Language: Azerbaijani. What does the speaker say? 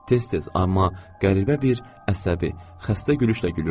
Tez-tez, amma qəribə bir əsəbi, xəstə gülüşlə gülürdü.